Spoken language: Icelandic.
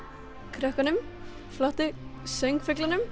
krökkunum flottu